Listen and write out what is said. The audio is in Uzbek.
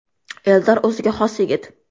Eldor o‘ziga xos yigit.